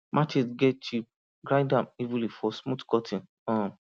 machete get chip grind am evenly for smooth cutting um